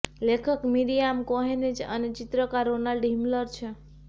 લેખક Miriam Cohen છે અને ચિત્રકાર રોનાલ્ડ હિમલર છે